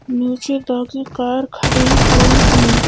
नीचे की कार खड़ी हुई है।